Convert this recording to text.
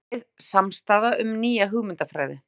Breið samstaða um nýja hugmyndafræði